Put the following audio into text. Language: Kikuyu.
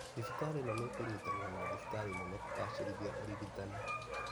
Thibitarĩ ĩno nĩĩkunyitanĩra na thibitarĩ nene kũgacĩrithia ũrigitani